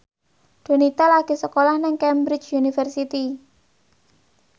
Donita lagi sekolah nang Cambridge University